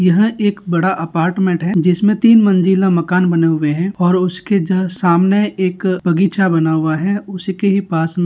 यह एक बड़ा अपार्टमेंट है जिसमे तीन मंजिला मकान बने हुए है और उसके जस्ट सामने एक बगीचा बना हुआ है उसके पास मे --